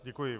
Děkuji.